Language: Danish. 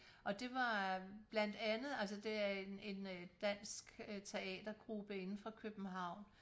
Og det var blandt andet altså det er en en øh dansk teatergruppe inden fra København